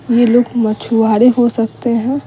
ये लोग मछुआरे हो सकते हैं।